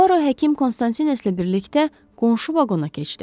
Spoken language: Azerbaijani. Puaro həkim Konstantinlə birlikdə qonşu vaqona keçdi.